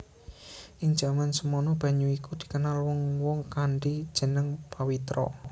Ing jaman semana banyu iku dikenal wong wong kanthi jeneng Pawitra